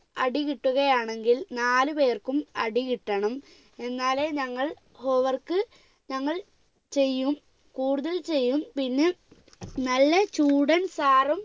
അടി കിട്ടുകയാണെങ്കിൽ നാലു പേർക്കും അടികിട്ടണം എന്നാലേ ഞങ്ങൾ home work ഞങ്ങൾ ചെയ്യും കൂടുതൽ ചെയ്യും പിന്നെ നല്ല ചൂടൻ sir ഉം